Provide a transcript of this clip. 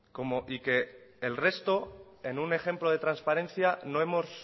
y que el resto en un ejemplo de transparencia no hemos